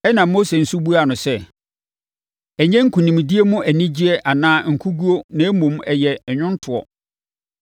Ɛnna Mose nso buaa no sɛ, “Ɛnnyɛ nkonimdie mu anigyeɛ anaa, nkoguo na mmom, ɛyɛ nnwontoɔ.”